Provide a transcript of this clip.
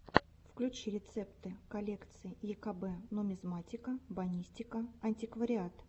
включи рецепты коллекций екб нумизматика бонистика антиквариат